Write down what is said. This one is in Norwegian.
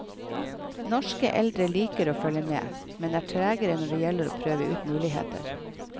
Norske eldre liker å følge med, men er tregere når det gjelder å prøve ut muligheter.